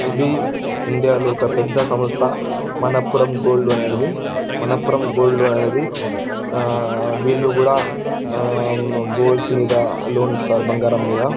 ఇది ఇండియా ఒక పెద్ద సమస్తా మానంపురం గోల్డ్ అనేది మానంపురం గోల్డ్ అనేది వీళ్ళు కూడా గొల్డ్స్ మీద లోన్ ఇస్తారు బంగారం మీద